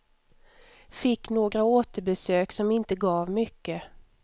Fick några återbesök, som inte gav mycket.